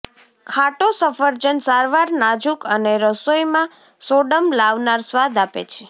ખાટો સફરજન સારવાર નાજુક અને રસોઇમાં સોડમ લાવનાર સ્વાદ આપે છે